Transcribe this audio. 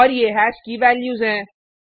और ये हैश की वैल्यूज हैं